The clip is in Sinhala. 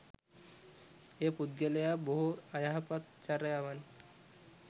එය පුද්ගලයා බොහෝ අයහපත් චර්යාවන්,